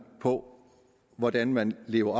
på hvordan man lever